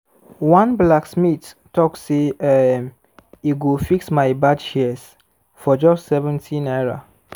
one blacksmith talk say um e go fix my bad shears for just 70 naira.